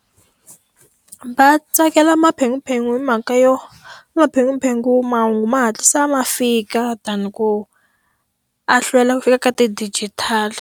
Va tsakela maphephahungu hi mhaka yo, maphephahungu mahungu ma hatlisa ma fika than ku a hlwela ku fika ka ti-digital-i.